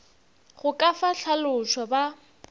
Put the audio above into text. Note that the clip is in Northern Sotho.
go ka fa hlalošo ba